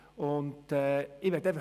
Noch ein Hinweis: